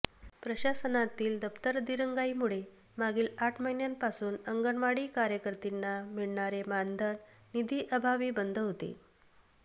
प्रशासनातील दप्तरदिरंगाईमुळे मागील आठ महिन्यांपासून अंगणवाडी कार्यकर्तींना मिळणारे मानधन निधी अभावी बंद होते